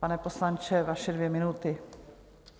Pane poslanče, vaše dvě minuty.